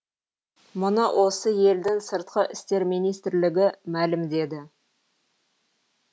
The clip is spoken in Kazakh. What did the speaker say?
мұны осы елдің сыртқы істер министрлігі мәлімдеді